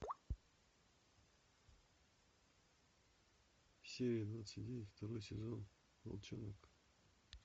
серия двадцать девять второй сезон волчонок